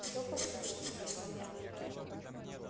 всё послушал спросил я